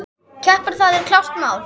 Keppa, það er klárt mál.